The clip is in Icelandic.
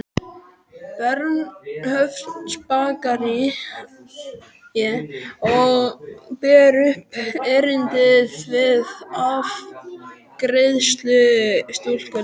Bernhöftsbakaríi og ber upp erindið við afgreiðslustúlkuna.